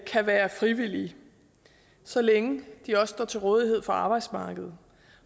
kan være frivillige så længe de også står til rådighed for arbejdsmarkedet